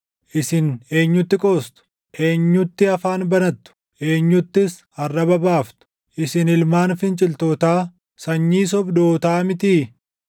Isin eenyutti qoostu? Eenyutti afaan banattu? Eenyuttis arraba baaftu? Isin ilmaan finciltootaa, sanyii sobdootaa mitii?